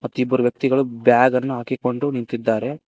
ತ್ತು ಇಬ್ಬರು ವ್ಯಕ್ತಿಗಳು ಬ್ಯಾಗನ್ನು ಹಾಕಿಕೊಂಡು ನಿಂತಿದ್ದಾರೆ.